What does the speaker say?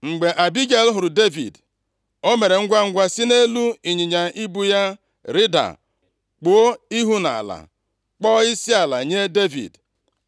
Mgbe Abigel hụrụ Devid, o mere ngwangwa si nʼelu ịnyịnya ibu ya rịda, kpuo ihu nʼala, kpọọ isiala nye Devid.